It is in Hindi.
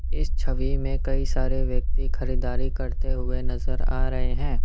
इस छवि में कई सारे व्यक्ति खरीदारी करते हुए नजर आ रहे हैं।